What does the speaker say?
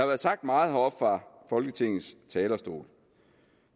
været sagt meget heroppe fra folketingets talerstol